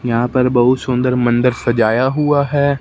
यहां पर बहुत सुंदर मंदर सजाया हुआ है।